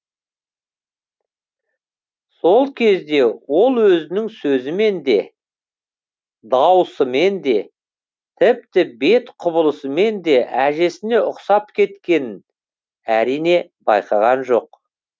сол кезде ол өзінің сөзімен де даусымен де тіпті бет құбылысымен де әжесіне ұқсап кеткенін әрине байқаған жоқ